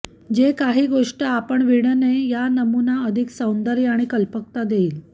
जे काही गोष्ट आपण विणणे या नमुना अधिक सौंदर्य आणि कल्पकता देईल